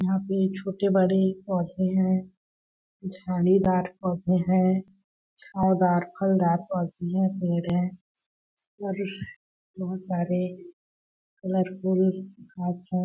यहाँ पे छोटे-बड़े पौधे है। झाड़ीदार पौधे है छावदारफलदार पौधे हैपेड़ है और बहुत सारे कलर फुल घास है।